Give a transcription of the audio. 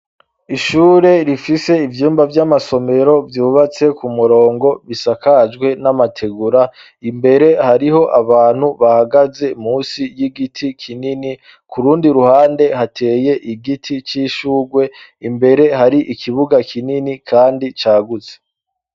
Ishure rifise ivyumba vy'amasomero vyubatse ku murongo bisakajwe n'amategura imbere, hariho abantu bahagaze musi y'igiti kinini, kurundi ruhande hateye igiti c'ishurwe, imbere hari ikibuga kinini kandi cagutse.